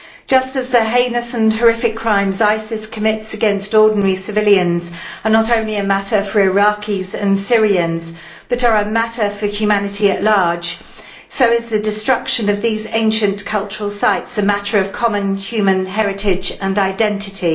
Just as the heinous and horrific crimes ISIS commits against ordinary civilians are not only a matter for Iraqis and Syrians but are a matter for humanity at large, so is the destruction of these ancient cultural sites a matter of common human heritage and identity.